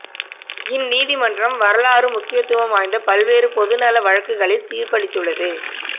இந்நீதிமன்றம் வரலாறு முக்கியத்துவம் வாய்ந்த பல்வேறு பொது நல வழக்குகளில் தீர்ப்பளித்துள்ளது